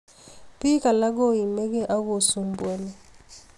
Biik alaak koimigee ak kosumbuani